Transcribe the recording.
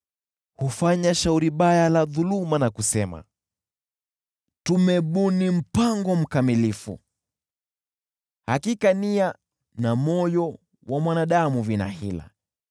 Hufanya shauri baya la dhuluma na kusema, “Tumebuni mpango mkamilifu!” Hakika nia na moyo wa mwanadamu vina hila.